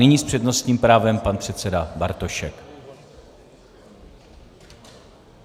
Nyní s přednostním právem pan předseda Bartošek.